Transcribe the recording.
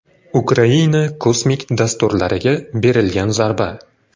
Ukraina kosmik dasturlariga berilgan zarba.